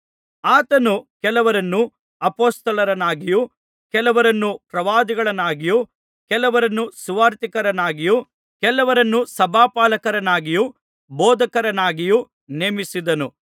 ಆತನು ಕೆಲವರನ್ನು ಅಪೊಸ್ತಲರನ್ನಾಗಿಯೂ ಕೆಲವರನ್ನು ಪ್ರವಾದಿಗಳನ್ನಾಗಿಯೂ ಕೆಲವರನ್ನು ಸುವಾರ್ತಿಕರನ್ನಾಗಿಯೂ ಕೆಲವರನ್ನು ಸಭಾಪಾಲಕರನ್ನಾಗಿಯೂ ಬೋಧಕರನ್ನಾಗಿಯೂ ನೇಮಿಸಿದನು